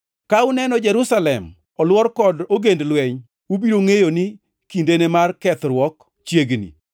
“Ka uneno Jerusalem olwor kod ogend lweny, ubiro ngʼeyo ni kindene mar kethruok chiegni.